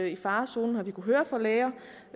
i farezonen har vi kunnet